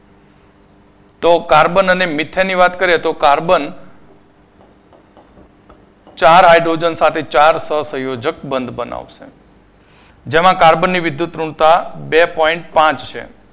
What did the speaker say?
તો કાર્બન અને મિથનની વાત કરીએ તો કાર્બન ચાર hydrogen ચાર સહસંયોજક બધ બનાવશે જેમાં કાર્બનની વિદ્યુતઋણતા બે પોઇન્ટ પાંચ છે.